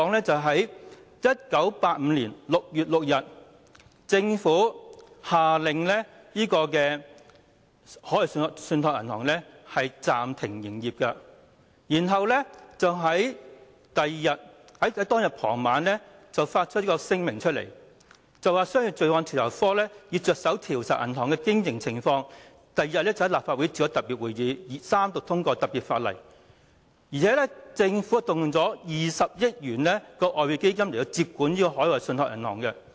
在1985年6月6日，政府下令海外信託銀行暫停營業，並在當日傍晚發出聲明，指商業罪案調查科已着手調查銀行的經營情況，並於翌日召開立法局特別會議，三讀通過特別法例，而且政府更動用了20億元外匯基金來接管海外信託銀行。